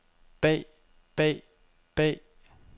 bag bag bag